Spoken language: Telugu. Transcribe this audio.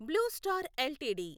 blue Star LTD